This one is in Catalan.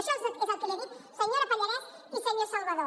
això és el que els he dit senyora pallarès i senyor salvadó